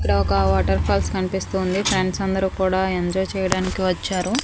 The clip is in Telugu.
ఇక్కడ ఒక వాటర్ఫాల్స్ కన్పిస్తోంది ఫ్రెండ్స్ అందరూ కూడా ఎంజాయ్ చెయ్యడానికి వచ్చారు.